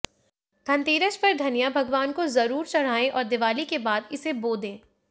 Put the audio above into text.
धनतेरस पर धनिया भगवान को जरूर चढ़ाएं और दीवाली के बाद इसे बो दें